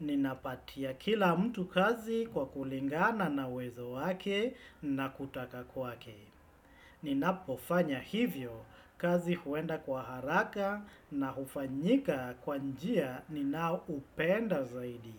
Ninapatia kila mtu kazi kwa kulingana na uwezo wake na kutaka kwake. Ninapofanya hivyo kazi huenda kwa haraka na hufanyika kwa njia ninaoupenda zaidi.